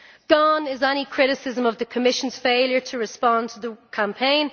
Gone is any criticism of the Commission's failure to respond to the campaign.